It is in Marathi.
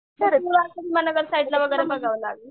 साईडला वगैरे बघावं लागल.